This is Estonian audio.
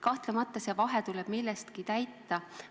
Kahtlemata tuleb see vahe millegagi täita.